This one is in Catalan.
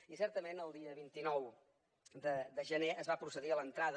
i certament el dia vint nou de gener es va procedir a l’entrada